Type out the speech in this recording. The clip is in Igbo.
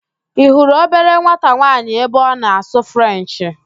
Ị hurụ obere nwata nwaanyị ahụ ebe ọ na-asụ Frenchị?